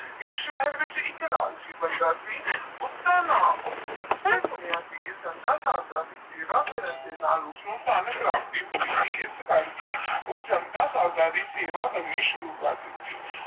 ਏਕ ਸਹਿਰ ਵਿਚ ਇਕ ਲਾਲਚੀ ਬੰਦਾ ਸੀ ਉਸਦਾ ਨਾਮ ਉਸਨੇ ਸੁਣਿਆ ਸੀ ਕਿ ਸੰਤਾ ਸਾਰਦਾ ਦੀ ਸੇਵਾ ਕਰਨ ਦੇ ਨਾਲ ਉੱਸਣੂ ਧਨ ਪ੍ਰਾਪਤੀ ਮਿਲੇਗੀ ਈਐੱਸਐੱਸ ਕਰਕੇ ਉਸਨੇ ਸੰਤਾ ਸਰਦਾ ਸੀ ਸੇਵਾ ਕਰਨੀ ਸੁਰੂ ਕੜਿੱਤੀ